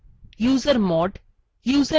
usermod userdel